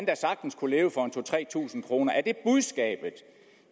da sagtens kunne leve for to tusind tre tusind kroner er det budskabet